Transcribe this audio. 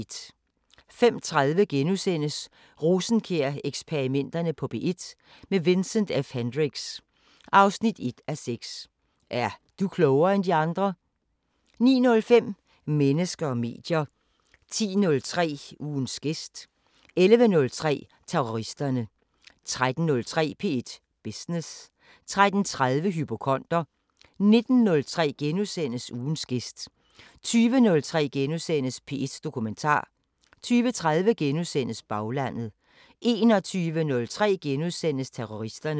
05:30: Rosenkjær-eksperimenterne på P1 – med Vincent F Hendricks: 1:6 Er du klogere end de andre? * 09:05: Mennesker og medier 10:03: Ugens gæst 11:03: Terroristerne 13:03: P1 Business 13:30: Hypokonder 19:03: Ugens gæst * 20:03: P1 Dokumentar * 20:30: Baglandet * 21:03: Terroristerne *